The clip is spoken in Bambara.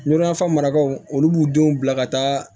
Ŋuruyanfan marakaw olu b'u denw bila ka taa